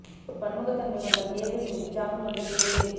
ஒரு பன்முகத்தன்மை கொண்ட கேபிர் மீது ஜாம் கொண்டு கேக் கேக்